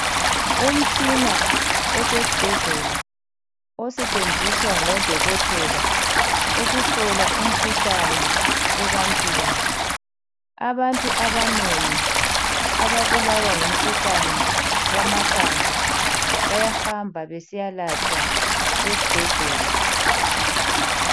Umtshina osesbhedlela osetsenziswa ngodokotela ukuhlola imikhuhlane ebantwini. Abantu abanengi ababulawa ngumkhuhlane wamathambo bayahamba besiyalatshwa esbhedlela.